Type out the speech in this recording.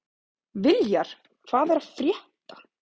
Viljar, hvað er að frétta?